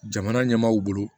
Jamana ɲɛmaaw bolo